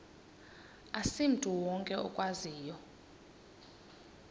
asimntu wonke okwaziyo